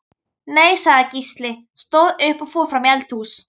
Nei, sagði Gísli, stóð upp og fór fram í eldhús.